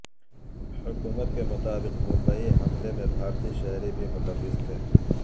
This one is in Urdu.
حکومت کے مطابق ممبئی حملے میں بھارتی شہری بھی ملوث تھے